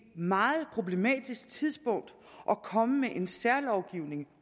meget problematisk tidspunkt at komme med en særlovgivning